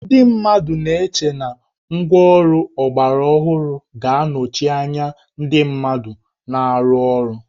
Ndị mmadụ na-eche na ngwáọrụ ọgbaraọhụrụ ga-anọchi anya ndị mmadụ na-arụ ọrụ